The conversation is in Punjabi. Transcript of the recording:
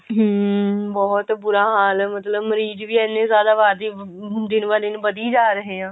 ਹਮ ਬਹੁਤ ਬੁਰਾ ਹਾਲ ਮਤਲਬ ਮਰੀਜ ਵੀ ਇੰਨੇ ਜ਼ਿਆਦਾ ਵਧ ਦਿਨ ਬਰ ਦਿਨ ਵਧੀ ਜਾ ਰਹੇ ਆ